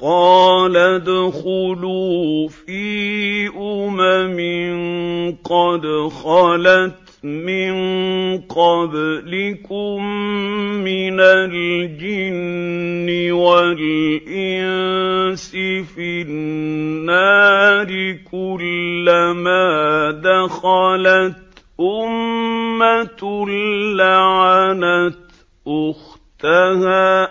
قَالَ ادْخُلُوا فِي أُمَمٍ قَدْ خَلَتْ مِن قَبْلِكُم مِّنَ الْجِنِّ وَالْإِنسِ فِي النَّارِ ۖ كُلَّمَا دَخَلَتْ أُمَّةٌ لَّعَنَتْ أُخْتَهَا ۖ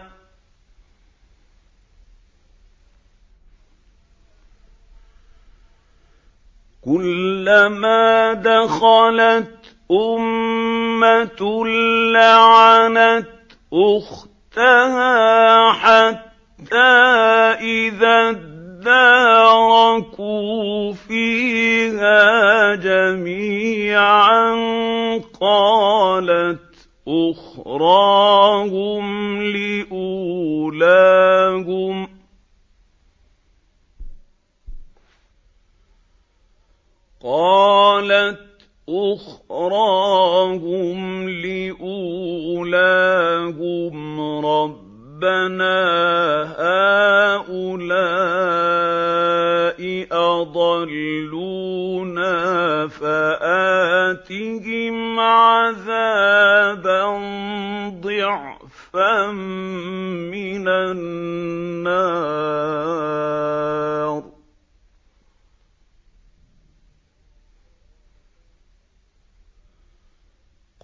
حَتَّىٰ إِذَا ادَّارَكُوا فِيهَا جَمِيعًا قَالَتْ أُخْرَاهُمْ لِأُولَاهُمْ رَبَّنَا هَٰؤُلَاءِ أَضَلُّونَا فَآتِهِمْ عَذَابًا ضِعْفًا مِّنَ النَّارِ ۖ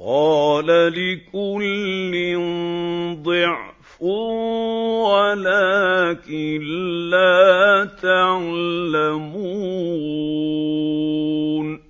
قَالَ لِكُلٍّ ضِعْفٌ وَلَٰكِن لَّا تَعْلَمُونَ